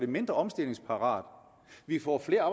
mindre omstillingsparate vi får flere